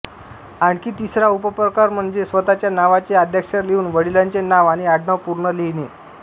आणखी तिसरा उपप्रकार म्हणजे स्वतःच्या नावाचे आद्याक्षर लिहून वडिलांचे नाव आणि आडनाव पूर्ण लिहिणे